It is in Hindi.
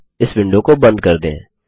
हो जाने पर इस विंडो को बंद कर दें